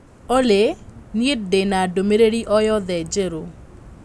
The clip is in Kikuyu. Olly niĩ ndĩ na ndũmĩrĩri o yothe njerũ